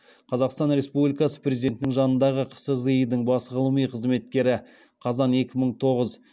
қазақстан республикасы президентінің жанындағы қсзи дың бас ғылыми қызметкері